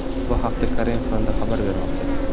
Bu haqda Karimov Fondi xabar bermoqda .